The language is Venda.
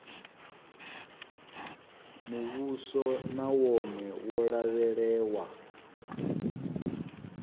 muvhuso na wone wo lavhelewa